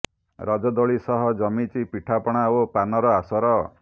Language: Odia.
ରଜ ଦୋଳି ସହ ଜମିଛି ପିଠାପଣା ଓ ପାନର ଆସର